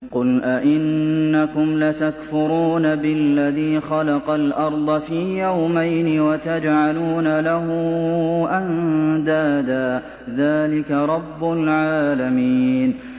۞ قُلْ أَئِنَّكُمْ لَتَكْفُرُونَ بِالَّذِي خَلَقَ الْأَرْضَ فِي يَوْمَيْنِ وَتَجْعَلُونَ لَهُ أَندَادًا ۚ ذَٰلِكَ رَبُّ الْعَالَمِينَ